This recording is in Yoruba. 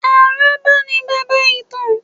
Àrọ́bá ni baba ìtàn